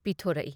ꯄꯤꯊꯣꯔꯛꯏ ꯫